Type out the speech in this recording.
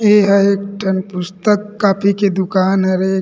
ये ह एक टन पुस्तक कॉपी के दुकान हरे --